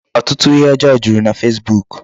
Ọtụtụ ihe ọjọọ juru na Facebook.